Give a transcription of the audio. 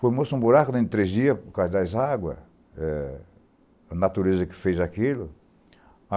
Formou-se um buraco dentro de três dias por causa das águas, a natureza que fez aquilo.